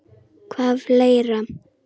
Hvað fleira?